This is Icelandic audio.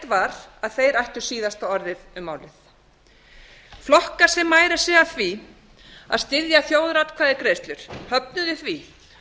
var að þeir ættu síðasta orðið um málið flokkar sem mæra sig af því að styðja þjóðaratkvæðagreiðslur höfnuðu því